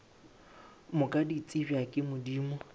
moka di tsebja ke modimo